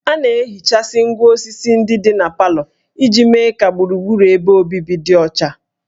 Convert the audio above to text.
A na-ehichasị ngwá osisi ndị dị na parlour iji mee ka gburugburu ebe obibi dị ọcha